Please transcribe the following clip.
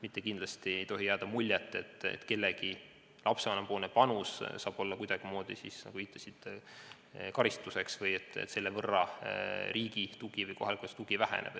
Ja kindlasti ei tohi jääda muljet, et mõne lapsevanema panus saab kuidagimoodi karistatud – sa viitasid karistusele – või et selle võrra riigi või kohalike omavalitsuste tugi väheneb.